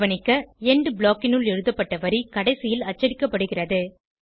கவனிக்க எண்ட் blockனுள் எழுதப்பட்ட வரி கடைசியில் அச்சடிக்கப்படுகிறது